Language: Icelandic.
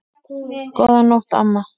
Góðan nótt, amma.